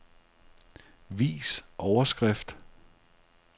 Vis overskrift.